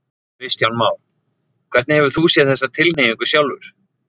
Kristján Már: Hefur þú séð þessa tilhneigingu sjálfur?